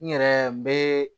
N yɛrɛ n bɛ